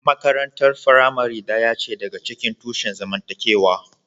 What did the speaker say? Makarantar firamare ɗaya ce daga cikin tushen zamantakewa.